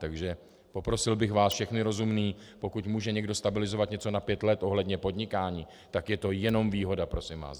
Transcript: Takže poprosil bych vás všechny rozumné, pokud může někdo stabilizovat něco na pět let ohledně podnikání, tak je to jenom výhoda, prosím vás.